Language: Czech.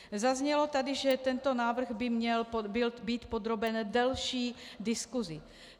Zaznělo tady, že tento návrh by měl být podroben delší diskusi.